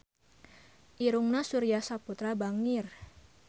Irungna Surya Saputra bangir